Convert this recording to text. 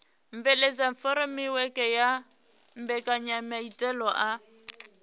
bveledza furemiweke ya mbekanyamaitele a